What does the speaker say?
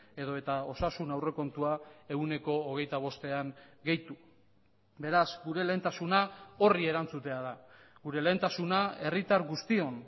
edota osasun aurrekontua ehuneko hogeita bostean gehitu beraz gure lehentasuna horri erantzutea da gure lehentasuna herritar guztion